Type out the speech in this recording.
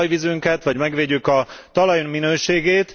a talajvizünket vagy megvédjük a talajunk minőségét.